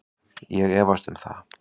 Ég efst um það